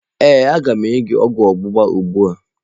Ee, a ga m enye gị ogwu ọgba gba ugbu a.